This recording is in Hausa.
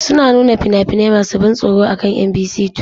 Suna nuna fina-finai masu ban tsoro akan Mbc 2.